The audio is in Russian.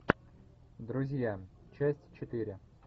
друзья часть четыре